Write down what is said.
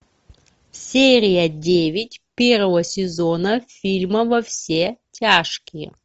серия девять первого сезона фильма во все тяжкие